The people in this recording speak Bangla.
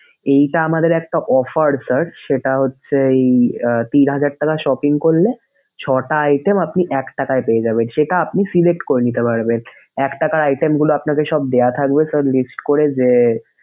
এইটা আমাদের একটা offer sir সেটা হচ্ছে তিন হাজার টাকা shopping করলে, ছয়টা item আপনি এক টাকায় পেয়ে যাবেন। সেটা আপনি select করে নিতে পারবেন। এক টাকার item গুলো আপনাকে সব দেয়া থাকবে sir list করে যে,